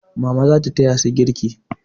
Mama za ta taya su girki.